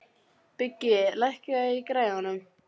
Biggi, lækkaðu í græjunum.